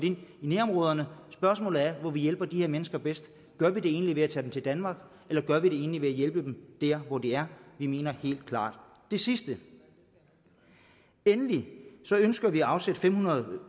ind i nærområderne spørgsmålet er hvor vi hjælper de her mennesker bedst gør vi det egentlig ved at tage dem til danmark eller gør vi det egentlig ved at hjælpe dem der hvor de er vi mener helt klart det sidste endelig ønsker vi at afsætte fem hundrede